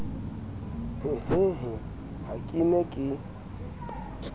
hehehe ha ke ne ke